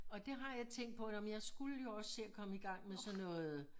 Og det har jeg tænkt på nå men jeg skulle jo også se at komme i gang med sådan noget